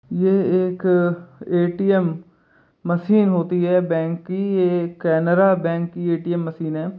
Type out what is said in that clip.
यह एक ATM machine होती है बैंक की ये कैनरा बैंक की एटीएम मशीन है।